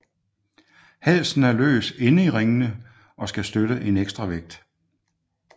Halsen er løs inde i ringene og skal støtte en ekstra vægt